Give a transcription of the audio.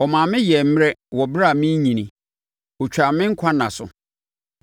Ɔmaa me yɛɛ mmerɛ wɔ ɛberɛ a merenyini. Ɔtwaa me nkwa nna so.